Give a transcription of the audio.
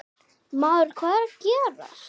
Maður, hvað er að gerast?